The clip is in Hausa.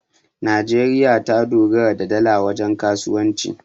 najeriya ta dogara da dala wajen kasuwanci